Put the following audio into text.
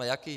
A jaký?